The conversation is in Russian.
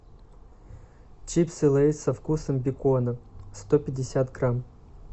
чипсы лейс со вкусом бекона сто пятьдесят грамм